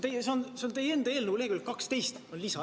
See on teie enda eelnõu, lehekülg 12 on lisa.